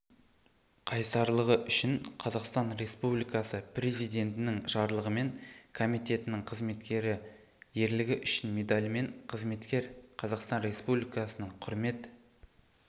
қайсарлығы үшін қазақстан республикасы президентінің жарлығымен комитетінің қызметкері ерлігі үшін медалімен қызметкер қазақстан республикасының құрмет